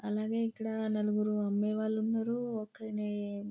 అలాగే ఇక్కడ నలుగురు అమ్మే వాళ్ళున్నారు ఒక్కలే --